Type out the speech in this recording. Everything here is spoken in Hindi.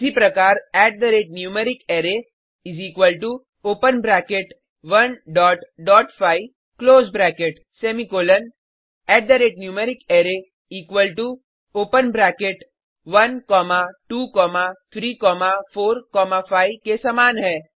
इसी प्रकार numericArray equal to open bracket 1 dot dot 5 close bracket semicolon numericArray equal to open bracket 1 comma 2 comma 3 comma 4 comma 5 के समान है